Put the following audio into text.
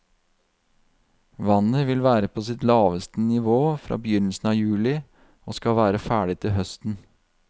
Vannet vil være på sitt laveste nivå fra begynnelsen av juli, og skal være ferdig til høsten.